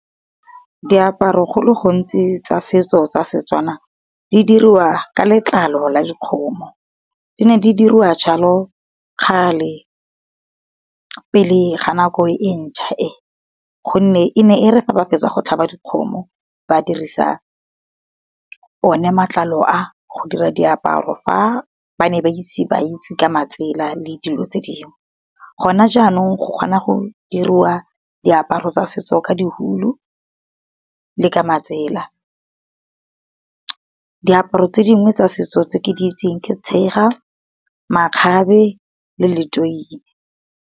Diaparo go le gontsi tsa setso tsa setswana di dirwa ka letlalo la dikgomo, di ne di diriwa jalo kgale. Pele ga nako e ntšha e gonne ene e re fa ba fetsa go tlhaba dikgomo, ba dirisa o ne matlalo a go dira diaparo fa ba ne ba itse ba itse ka matsela le dilo tse dingwe. Gona jaanong go kgona go diriwa diaparo tsa setso ka di hulu le ka matsela. Diaparo tse dingwe tsa setso tse ke di itseng ke tshega. Makgabe le letoi